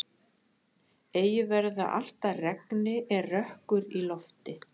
Eigi verður það allt að regni er rökkur í lofti.